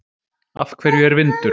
Af hverju er vindur?